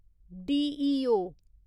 DEO